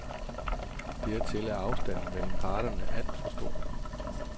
Dertil er afstanden mellem parterne alt for stor.